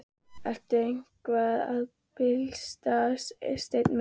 Ertu eitthvað að bilast, Steini minn?